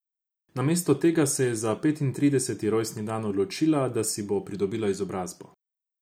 Namesto tega se je za petintrideseti rojstni dan odločila, da si bo pridobila izobrazbo.